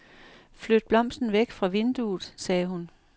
Flyt blomsten væk fra vinduet, sagde hun.